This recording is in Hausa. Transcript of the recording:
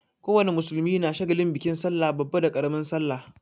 Ko wane musulmi na shagalin bikin sallah babba da ƙaramin sallah.